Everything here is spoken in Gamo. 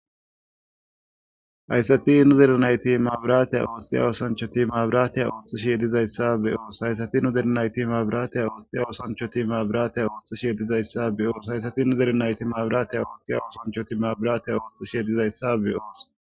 Hayssati nuzere nayti maabiraateya ooththiya oosanchoti maabiraateya ooththushi yedizayssabe oos hayssati nudernayti maabiraateya ooththiya wosanchoti maabiraateya ooththushi ye dizayssabe oos hayssati nudere nayti maabiraateya ooththiya oosanchoti maabiraateya ooththush yedizayssabe oos.